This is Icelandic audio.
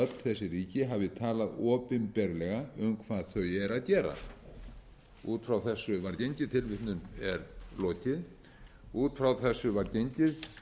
ráð fyrir að öll þessi ríki hafi talað opinberlega um hvað þau eru að gera út frá þessu var gengið